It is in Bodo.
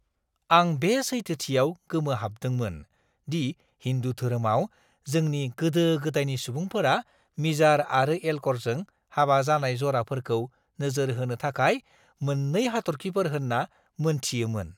आं बे सैथोथियाव गोमोहाबदोंमोन दि हिन्दु धोरोमाव जोंनि गोदो-गोदायनि सुबुंफोरा मिजार आरो एल्क'रजों हाबा जानाय जराफोरखौ नोजोर होनो थाखाय मोन्नै हाथर्खिफोर होनना मोनथियोमोन!